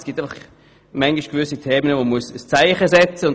Es gibt einfach manchmal Themen, zu denen man ein Zeichen setzen muss.